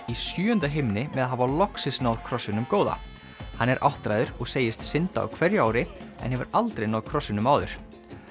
í sjöunda himni með að hafa loksins náð krossinum góða hann er áttræður og segist synda á hverju ári en hefur aldrei náð krossinum áður